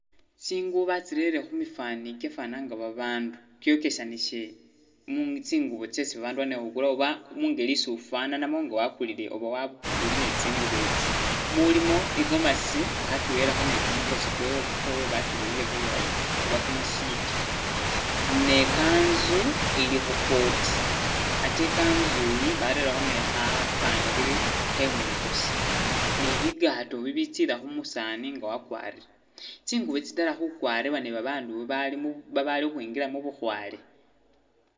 Tsingubo batsirere khubifani kikyafana nga babandu tsyokesanisile tsingubo tsesi babandu bali nikhukula oba engeli isi wufananamo nga bakulilo oba nga wafunile tsingubetsi, mulimo igomasi bakirere bakirerekho ni kumukosi kwewe akiboyile bulaayi oba kumusipi, ne kanzu ilikhu'coat ate i'kanzui barerekho ni khapangiri mwikosi ni bigatoo bibitsila khumusani nga wakwarile tsingubo tsino tsitala khukwaribwa ni babandu babali babali khukhwingila mubukhwale